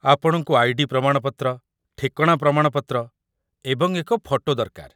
ଆପଣଙ୍କୁ ଆଇ.ଡି. ପ୍ରମାଣପତ୍ର, ଠିକଣା ପ୍ରମାଣପତ୍ର, ଏବଂ ଏକ ଫଟୋ ଦରକାର